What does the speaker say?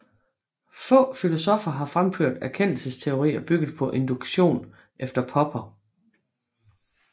Få filosoffer har fremført erkendelsesteorier bygget på induktion efter Popper